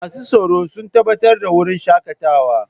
Masu tsaro sun tabbatar da wurin shakatawa.